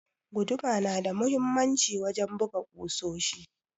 Guduma na da muhimmanci wajen buga kusoshi.